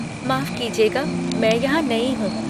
माफ़ कीजिएगा, मैं यहाँ नई हूँ।